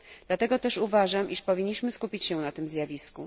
Dlatego też uważam, że powinniśmy się skupić na tym zjawisku.